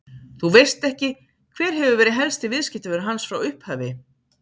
Þú veist ekki, hver hefur verið helsti viðskiptavinur hans frá upphafi?